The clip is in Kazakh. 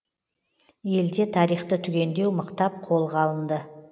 елде тарихты түгендеу мықтап қолға алынды